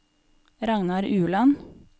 Ragnar Ueland